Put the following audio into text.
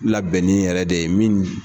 Labɛnnen yɛrɛ de ye min.